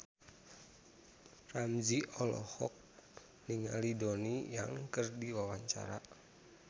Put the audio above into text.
Ramzy olohok ningali Donnie Yan keur diwawancara